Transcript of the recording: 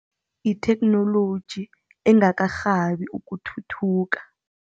Yitheknoloji engakarhabi ukuthuthuka.